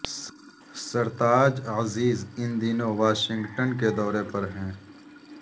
سرتاج عزیز ان دنوں واشنگٹن کے دورے پر ہیں